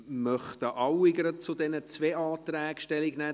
Möchten alle gerade zu diesen zwei Anträgen Stellung nehmen?